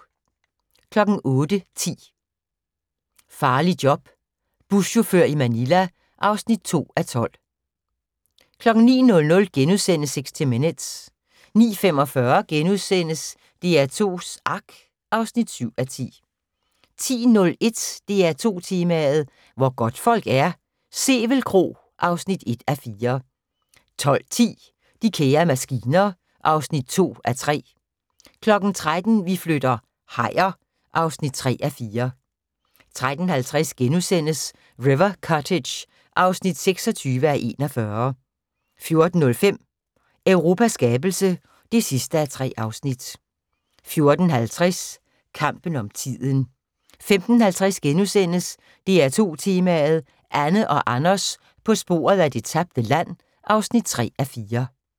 08:10: Farligt job - Buschauffør i Manila (2:12) 09:00: 60 Minutes * 09:45: DR2s Ark (7:10)* 10:01: DR2 Tema: Hvor godtfolk er - Sevel Kro (1:4) 12:10: De kære maskiner (2:3) 13:00: Vi flytter - hajer (3:4) 13:50: River Cottage (26:41)* 14:05: Europas skabelse (3:3) 14:50: Kampen om tiden 15:50: DR2 Tema: Anne og Anders på sporet af det tabte land (3:4)*